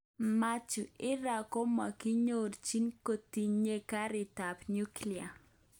Mathew: Iran komokiyochin kotinye ngarik kap nuclear.